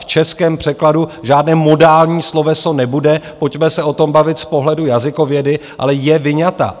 V českém překladu žádné modální sloveso nebude, pojďme se o tom bavit z pohledu jazykovědy, ale je vyňata.